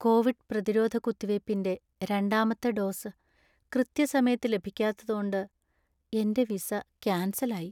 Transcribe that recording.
Covid പ്രതിരോധ കുത്തിവയ്പ്പിന്‍റെ രണ്ടാമത്തെ ഡോസ് കൃത്യസമയത്ത് ലഭിക്കാത്തതോണ്ട് എന്‍റെ വിസ കാൻസൽ ആയി.